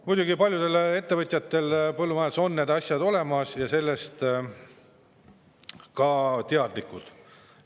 Muidugi, paljudel põllumajandusettevõtjatel on need asjad olemas ja nad on sellest ka teadlikud.